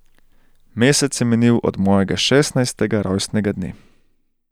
Mesec je minil od mojega šestnajstega rojstnega dne.